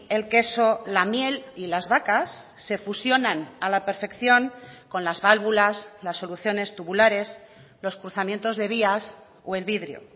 el queso la miel y las vacas se fusionan a la perfección con las válvulas las soluciones tubulares los cruzamientos de vías o el vidrio